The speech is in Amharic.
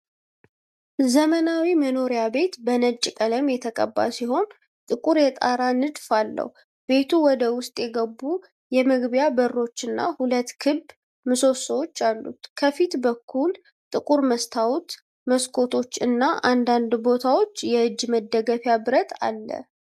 ዘመናዊ መኖሪያ ቤት በነጭ ቀለም የተቀባ ሲሆን ጥቁር የጣራ ንጣፍ አለው። ቤቱ ወደ ውስጥ የገቡ የመግቢያ በሮችና ሁለት ክብ ምሰሶዎች አሉት። ከፊት በኩል ጥቁር መስታወት መስኮቶች እና በአንዳንድ ቦታዎች የእጅ መደገፊያ ብረት አለ።